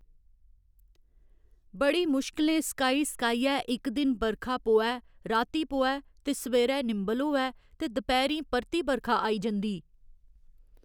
बड़ी मुश्कलें स्काई स्काइयै इक दिन बरखा पौऐ राती पौऐ ते सवेरै निम्बल होऐ ते दपैह्‌रीं परती बरखा आई जंदी